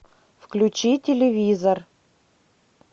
включи телевизор